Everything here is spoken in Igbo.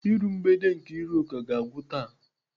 Iru mgbede Nkeiruka ga-agwụ taa.